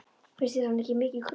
Finnst þér hann ekki mikið krútt?